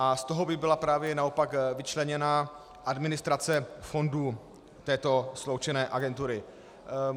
A z toho by byla právě naopak vyčleněna administrace fondu této sloučené agentury.